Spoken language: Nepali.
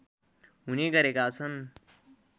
हुने गरेका छन्